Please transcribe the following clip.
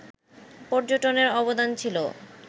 পর্যটনের অবদান ছিল